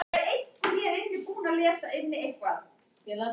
Já, þetta er svona herbergisþerna hjá núþálegu sögnunum.